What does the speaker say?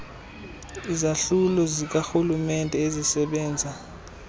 izahlulo zikarhulumenete ezisebenza